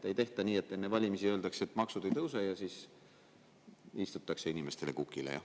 Ei tehta nii, et enne valimisi öeldakse, et maksud ei tõuse, aga siis istutakse inimestele kukile.